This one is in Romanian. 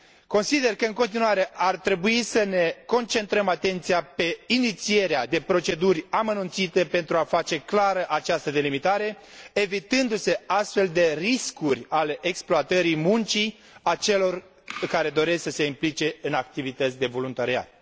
Consider că, în continuare, ar trebui să ne concentrăm atenția pe inițierea de proceduri amănunțite pentru a face clară această delimitare, evitându se astfel de riscuri ale exploatării muncii celor care doresc să se implice în activități de voluntariat.